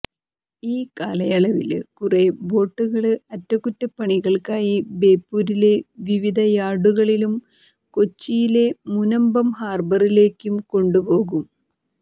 ഈ കാലയളവില് കുറേ ബോട്ടുകള് അറ്റകുറ്റപ്പണികള്ക്കായി ബേപ്പൂരിലെ വിവിധ യാര്ഡുകളിലും കൊച്ചിയിലെ മുനമ്പം ഹാര്ബറിലേക്കും കൊണ്ടുപോകും